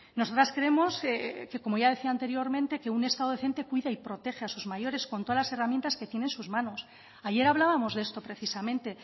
nosotras creemos que como ya decía anteriormente que un estado decente cuida y protege a sus mayores con todas las herramientas que tiene en sus manos ayer hablábamos de esto precisamente